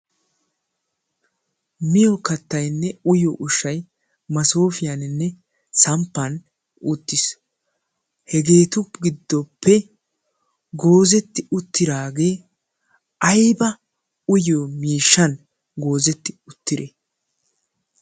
miyo kattainne uyyo ushshai masoofiyaaninne samppan uttiis. hegeetu giddoppe goozetti uttiraagee aiba uyyo miishshan goozetti uttire?